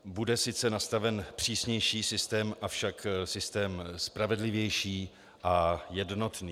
Bude sice nastaven přísnější systém, avšak systém spravedlivější a jednotný.